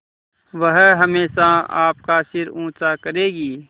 वह हमेशा आपका सिर ऊँचा करेगी